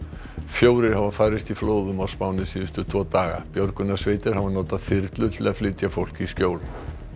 fjórir hafa farist í flóðum á Spáni síðustu tvo daga björgunarsveitir hafa notað þyrlur til þess að flytja fólk í skjól